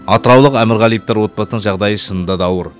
атыраулық әмірғалиевтер отбасының жағдайы шынында да ауыр